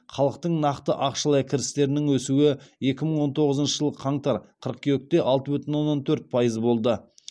халықтың нақты ақшалай кірістерінің өсуі екі мың он тоғызыншы жылы қаңтар қыркүйекте алты бүтін оннан төрт пайыз болды